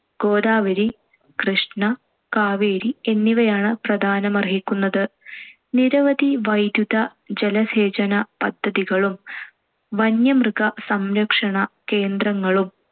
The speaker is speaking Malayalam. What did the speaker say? ഗോദാവരി, കൃഷ്ണ, കാവേരി, എന്നിവയാണ്‌ പ്രധാനമർഹിക്കുന്നത്. നിരവധി വൈദ്യുത, ജലസേചന പദ്ധതികളും വന്യമൃഗ സംരക്ഷണ കേന്ദ്രങ്ങളും